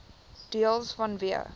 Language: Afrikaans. deels vanweë